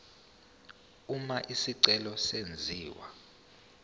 uma isicelo senziwa